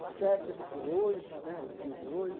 O certo é viver hoje né, o dia de hoje.